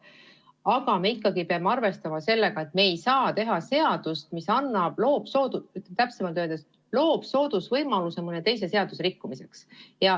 Aga me peame arvestama ka sellega, et me ei saa teha seadust, mis loob soodsa võimaluse mõne teise seaduse rikkumiseks.